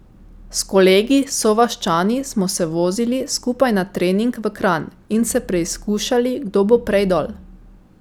S kolegi sovaščani smo se vozili skupaj na trening v Kranj in se preizkušali, kdo bo prej dol.